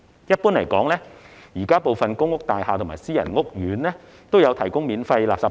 一般而言，現時部分公屋大廈及私人屋苑也有提供免費垃圾袋。